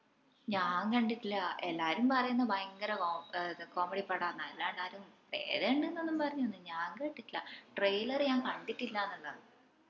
ഞാൻ കണ്ടിട്ടില്ല എല്ലാരും പറേന്ന ഭയങ്കര കോം ഏർ comedy പടാന്നു അതാ ഞാൻ എല്ലാണ്ട് ആരും പ്രേതം ഇണ്ടെന്ന് പറേന്നയൊന്നും ഞാൻ കേട്ടിട്ടില്ല trailer ഞാൻ കണ്ടിട്ടില്ലാന്ന് ഇള്ളയാന്ന്